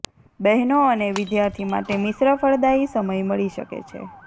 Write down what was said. બહેનો અને વિદ્યાર્થી માટે મિશ્રફળદાયી સમય મળી શકે છે